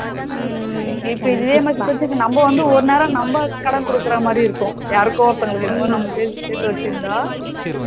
உம் இப்போ இதுவே நம்ம வந்து ஒரு நேரம் நம்ம கடன் குடுக்குற மாதிரி இருக்கும். யாருக்கோ ஒருத்தங்களுக்கு நாம வந்து சேத்து வச்சிருந்தா